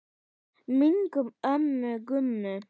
Minning um ömmu Gummu.